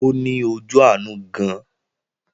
Ó ní ojú àánú gan-an